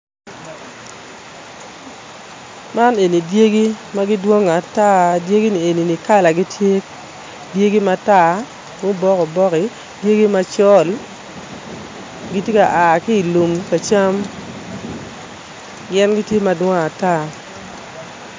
Man eni dyegi ma gidwongo ata dyegini eni kalagi tye dyegi matar, ma obok obok, dyegi macol gitye ka a ki I lum ka cam gin gitye madwong ata